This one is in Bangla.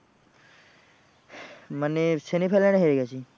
মানে semi final এ হেরে গেছি।